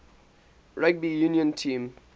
rugby union team